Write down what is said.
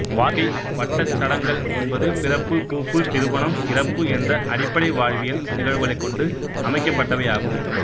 வாழ்க்கை வட்டச் சடங்கள் என்பது பிறப்பு பூப்பு திருமணம் இறப்பு என்ற அடிப்படை வாழ்வியல் நிகழ்வுகளை கொண்டு அமைக்கப்பட்டவை ஆகும்